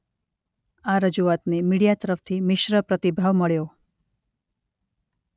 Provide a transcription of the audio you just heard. આ રજૂઆતને મિડિયા તરફથી મિશ્ર પ્રતિભાવ મળ્યો.